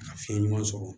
Ka fiɲɛ ɲuman sɔrɔ